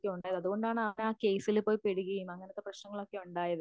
ഉണ്ടായത് അതുകൊണ്ടാണ് അവൻ ആ കേസില്പോയിപ്പെടുകയും അങ്ങനത്തെ പ്രശ്നങ്ങളൊക്കെ ഉണ്ടായത്.